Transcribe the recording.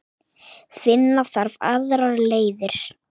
Finna þarf aðrar leiðir.